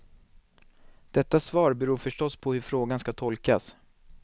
Detta svar beror förstås på hur frågan ska tolkas.